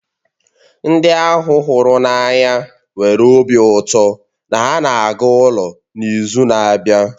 Ndị ahu hụrụ ya n'anya nwere obi ụtọ na ha na-aga ụlọ n'izu na-abịa